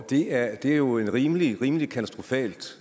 det er jo rimelig rimelig katastrofalt